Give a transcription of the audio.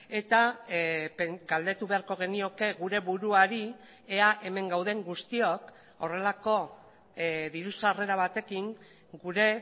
eta galdetu beharko genioke gure buruari ea hemen gauden guztiok horrelako diru sarrera batekin gure